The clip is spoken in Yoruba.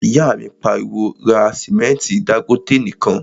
ìyá mi pariwo, 'ra sìmẹ́ntí Dangote nìkan'